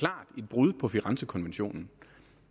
brud på firenzekonventionen